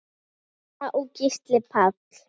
Alda og Gísli Páll.